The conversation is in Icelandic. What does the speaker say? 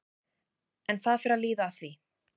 En það fer að líða að því.